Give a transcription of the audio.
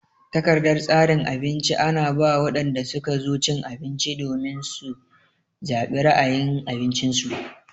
Takardan tsarin abinci ana ba wadanda suka zo cin abinci domin su zabi ra'ayin abincin su.